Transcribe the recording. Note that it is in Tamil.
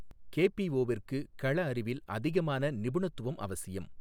கேபிஓவிற்கு களஅறிவில் அதிகமான நிபுணத்துவம் அவசியம்.